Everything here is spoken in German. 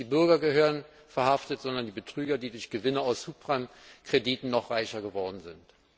Nicht die Bürger gehören verhaftet, sondern die Betrüger, die durch Gewinne aus Subprime Krediten noch reicher geworden sind.